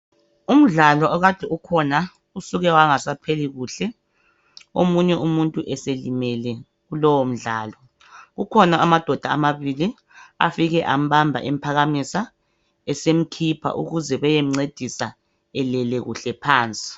Umdlalo okade ukhona uduke wangasapheli kuhle. Omunye umuntu eselimele kulowo mdlalo. Kukhona amadoda amabili afike ambamba emphakamisa sebemkhipha ukuze beyemceda elele kuhle phansi.